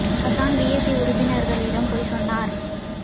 Hassan PAC உறுப்பினர்களிடம் பொய் சொன்னார்